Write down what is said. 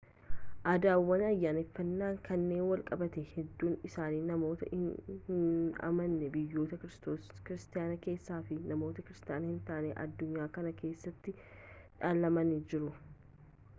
aadaawwan ayyaaneffannaa kanaan walqabatan hedduun isaanii namoota hin amanne biyyoota kiristaanaa keessaa fi namoota kiristaana hin ta'in addunyaa kana keessaatiin dhaalamanii jiru